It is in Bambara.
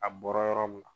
A bɔra yɔrɔ min na